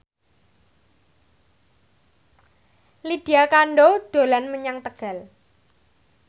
Lydia Kandou dolan menyang Tegal